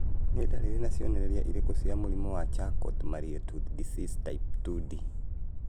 Nĩ ndariri na cionereria irĩkũ cia mũrimũ wa Charcot Marie Tooth disease type 2D?